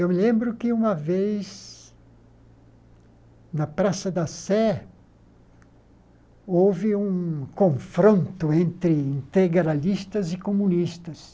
Eu me lembro que uma vez, na Praça da Sé, houve um confronto entre integralistas e comunistas.